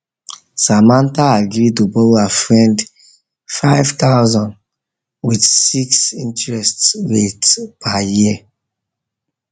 samantha agree to borrow her friend 5000 with 6 with 6 interest rate per year